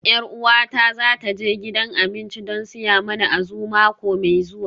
Yar uwata za ta je gidan abinci don siya mana Azu mako mai zuwa